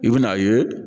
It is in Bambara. I bɛn'a ye